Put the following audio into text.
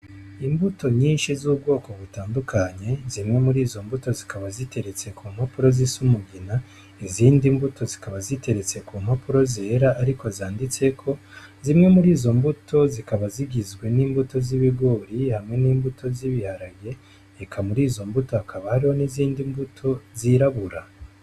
Imbuto nyinshi z'ubwoko butandukanye zimwe muri izo mbuto zikaba ziteretse ku mpapuro z'isi umugina izindi mbuto zikaba ziteretse ku mpapuro zera, ariko zanditseko zimwe muri izo mbuto zikaba zigizwe n'imbuto z'ibigori hamwe n'imbuto zibiharage eka muri izo mbuto akabaro n'izindi mbuto zirabura.